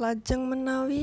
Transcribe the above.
Lajeng menawi